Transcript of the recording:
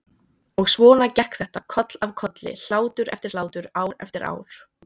Og svona gekk þetta koll af kolli, hlátur eftir hlátur, ár eftir ár.